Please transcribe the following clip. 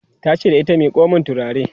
tace da ita " miƙo min turare!"